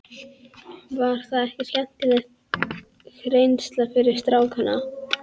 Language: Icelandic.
Var það ekki skemmtileg reynsla fyrir strákana?